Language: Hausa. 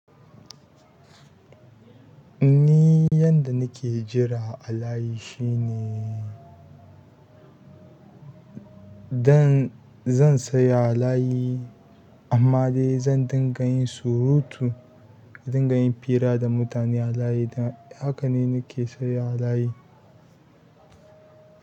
Ni yanda nake jira a layi shine dan zan saya a layi amma dai zan dinga yin surutu, na dinga yin fira da mutane a layi da haka ne nake saya a layi.